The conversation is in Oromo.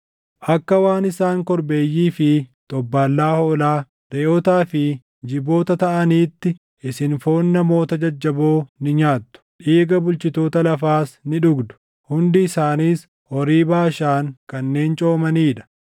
Akka waan isaan korbeeyyii fi xobbaallaa hoolaa, reʼootaa fi jiboota taʼaniitti, isin foon namoota jajjaboo ni nyaattu; dhiiga bulchitoota lafaas ni dhugdu; hundi isaaniis horii Baashaan kanneen coomanii dha.